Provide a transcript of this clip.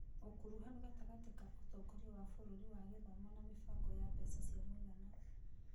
Ũkuruhanu gatagatĩ ka ũtongoria wa bũrũri wa gĩthomo na mĩbango ya mbeca cia mũigana.